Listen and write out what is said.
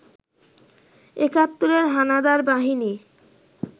একাত্তরের হানাদার বাহিনী